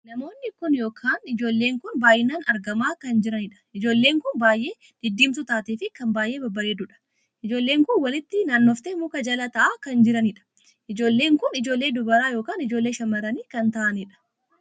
Namoonni kun ykn ijoolleen kun baay'inaan argamaa kan jiraniidha. ijoollee kan baay'ee diddiimtuu taatee fi kan baay'ee babbareeddudha. ijoolleen kun walitti naannoftee mukaa jala taa'aa kan jiraniidha. ijoolleen kun ijoollee dubaraa ykn ijoollee shamarranii kan ta'aaniidha.